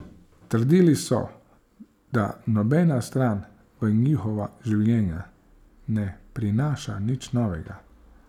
Trdili so, da nobena stran v njihova življenja ne prinaša nič novega.